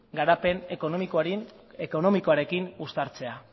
garapen ekonomikoarekin uztartzea